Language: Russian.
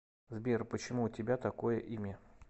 сбер почему у тебя такое имя